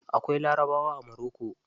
Akwai larabawa a moroko.